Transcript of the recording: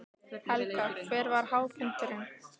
Helga: Hver var hápunkturinn?